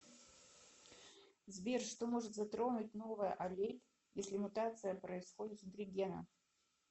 сбер что может затронуть новая аллель если мутация происходит внутри гена